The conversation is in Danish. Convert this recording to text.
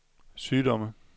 sygdomme